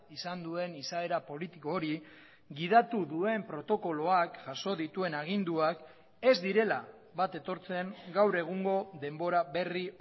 izan duen izaera politiko hori gidatu duen protokoloak jaso dituen aginduak ez direla bat etortzen gaur egungo denbora berri